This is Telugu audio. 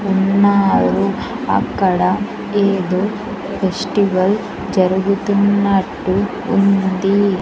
ఉన్నారు అక్కడ ఏదో ఫెస్టివల్ జరుగుతున్నట్టు ఉంది.